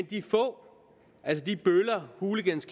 de få altså bøller hooligans